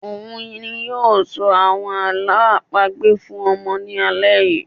òun ni yóò ṣọ àwọn àlọ́ àpagbè fún àwọn ọmọ ní alẹ́ yìí